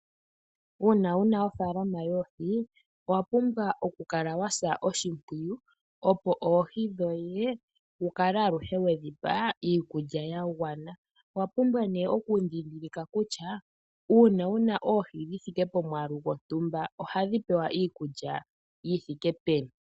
Uuna wuna ofaalama yoohi owapumbwa okukala wasa oshimpwiyu opo oohi dhoye wukale aluhe wedhi pa iikulya yagwana. Owapumbwa nee okundhindhilika kutya uuna wuna oohi dhithike polmwaalu gontumba oha dhi pewa iikulya yithike peni.